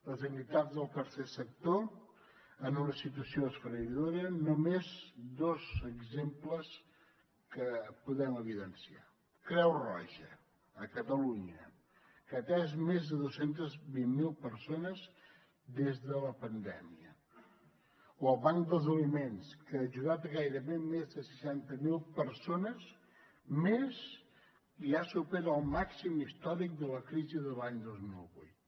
les entitats del tercer sector en una situació esfereïdora només dos exemples que podem evidenciar la creu roja a catalunya que ha atès més de dos cents i vint miler persones des de la pandèmia o el banc dels aliments que ha ajudat gairebé més de seixanta mil persones més i ja supera el màxim històric de la crisi de l’any dos mil vuit